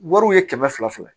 Wariw ye kɛmɛ fila fila